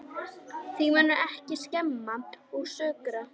Þig munar ekki um að skemma og saurga.